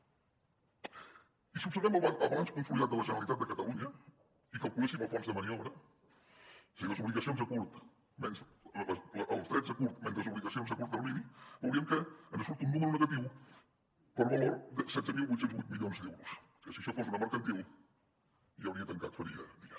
i si observem el balanç consolidat de la generalitat de catalunya i calculéssim el fons de maniobra o sigui els drets a curt menys les obligacions a curt termini veuríem que en surt un número negatiu per valor de setze mil vuit cents i vuit milions d’euros que si això fos una mercantil ja hauria tancat faria dies